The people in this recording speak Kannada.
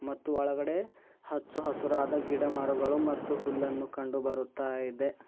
ಮತ್ತು ಒಳಗಡೆ ಹಚ್ಚಹಸಿರಾದ ಗಿಡಮರಗಳು ಮತ್ತು ಹುಲ್ಲನ್ನು ಕಂಡು ಬರುತ್ತಾ ಇದೆ.